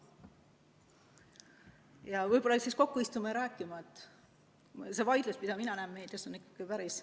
Ja võib-olla peaksime kokku istuma ja rääkima, et see vaidlus, mida mina näen meedias, on ikka päris ...